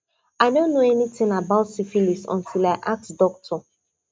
i no know anything about syphilis until i ask doctor